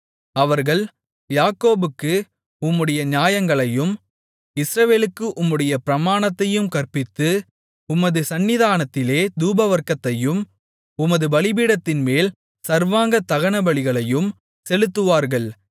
அவர்கள் யாக்கோபுக்கு உம்முடைய நியாயங்களையும் இஸ்ரவேலுக்கு உம்முடைய பிரமாணத்தையும் கற்பித்து உமது சந்நிதானத்திலே தூபவர்க்கத்தையும் உமது பலிபீடத்தின்மேல் சர்வாங்க தகனபலிகளையும் செலுத்துவார்கள்